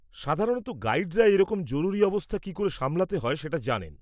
সাধারণত গাইডরা এইরকম জরুরি অবস্থা কি করে সামলাতে হয় সেটা জানেন।